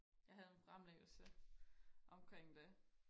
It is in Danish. jeg havde en fremlæggelse omkring det